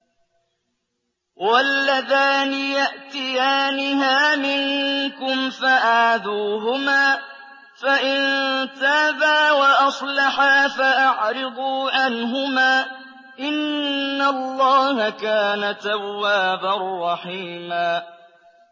وَاللَّذَانِ يَأْتِيَانِهَا مِنكُمْ فَآذُوهُمَا ۖ فَإِن تَابَا وَأَصْلَحَا فَأَعْرِضُوا عَنْهُمَا ۗ إِنَّ اللَّهَ كَانَ تَوَّابًا رَّحِيمًا